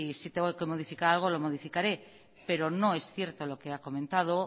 si tengo que modificar algo lo modificaré pero no es cierto lo que ha comentado